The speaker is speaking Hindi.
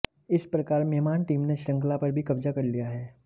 इस प्रकार मेहमान टीम ने शृंखला पर भी कब्जा कर लिया है